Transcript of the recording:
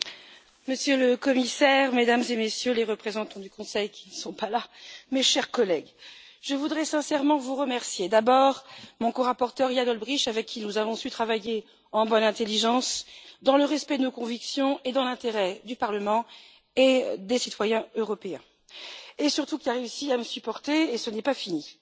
Monsieur le Président, Monsieur le Commissaire, Mesdames et Messieurs les représentants du Conseil qui ne sont pas là mes chers collègues, je voudrais sincèrement vous remercier. D'abord, mon corapporteur Jan Olbrycht, avec qui nous avons su travailler en bonne intelligence, dans le respect de nos convictions et dans l'intérêt du Parlement et des citoyens européens et qui, surtout, a réussi à me supporter, et ce n'est pas fini.